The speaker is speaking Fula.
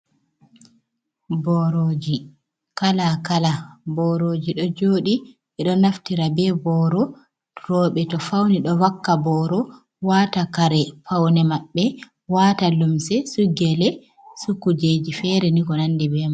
Boorooji, kala-kala boorooji ɗo jooɗi ɓe ɗo naftira bee booro rewɓe to fawni ɗo vakka booro waata kare pawne maɓɓe waata limse su gele, su kuujeeji feere ni ko nanndi bee man